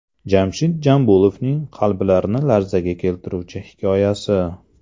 Jamshid Jambulovning qalblarni larzaga keltiruvchi hikoyasi.